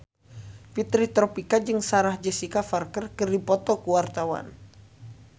Fitri Tropika jeung Sarah Jessica Parker keur dipoto ku wartawan